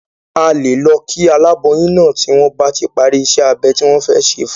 A lè lọ kí aláboyún náà tí wọ́n bá ti parí ìṣe abẹ ti wọ́n fẹ́ ṣe fún un.